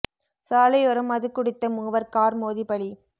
சாலையோரம் மது குடித்த மூவர் கார் மோதி பலி